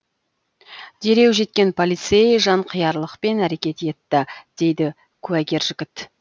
дереу жеткен полицей жанқиярлықпен әрекет етті дейді куәгер жігіт